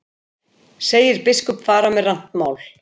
Segir biskup fara með rangt mál